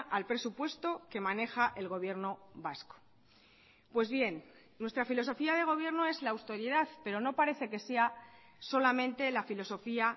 al presupuesto que maneja el gobierno vasco pues bien nuestra filosofía de gobierno es la austeridad pero no parece que sea solamente la filosofía